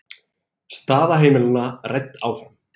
Staða heimilanna rædd áfram